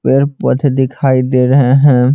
दिखाई दे रही है ।